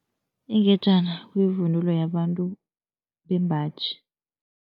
Ingejana kuyivunulo yabantu bembaji.